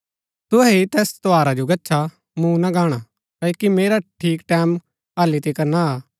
तुहै ही तैस त्यौहारा जो गच्छा मूँ ना गाणा क्ओकि मेरा ठीक टैमं हालि तिकर ना आ